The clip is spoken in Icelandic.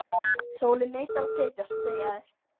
Sólin neitar að setjast, segja þeir.